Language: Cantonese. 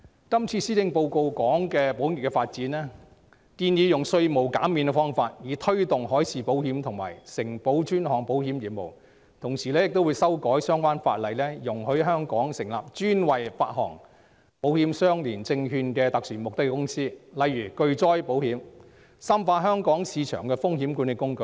今次施政報告談及保險業的發展，建議以稅務減免的方法推動海事保險及承保專項保險業務，同時會修改相關法例，容許在香港成立專為發行保險相連證券的特殊目的公司，例如巨災保險，深化香港市場的風險管理工具。